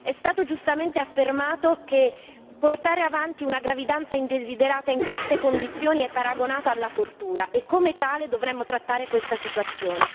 È stato giustamente affermato che portare avanti una gravidanza indesiderata in queste condizioni è paragonata alla tortura e come tale dovremo trattare questa situazione.